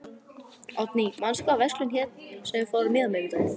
Oddný, manstu hvað verslunin hét sem við fórum í á miðvikudaginn?